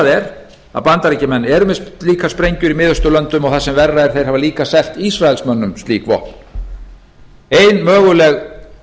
er að bandaríkjamenn eru með slíkar sprengjur í mið austurlöndum og það sem verra er þeir hafa líka selt ísraelsmönnum slík vopn ein möguleg